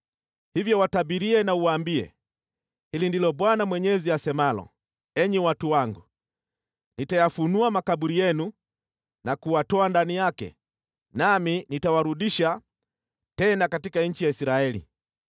Hivyo watabirie na uwaambie: ‘Hili ndilo Bwana Mwenyezi asemalo: Enyi watu wangu, nitayafunua makaburi yenu na kuwatoa ndani yake, nami nitawarudisha tena katika nchi ya Israeli.